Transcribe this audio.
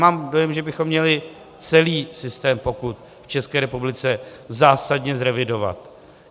Mám dojem, že bychom měli celý systém pokut v České republice zásadně zrevidovat.